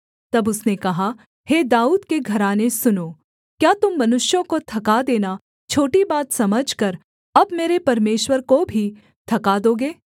तब उसने कहा हे दाऊद के घराने सुनो क्या तुम मनुष्यों को थका देना छोटी बात समझकर अब मेरे परमेश्वर को भी थका दोगे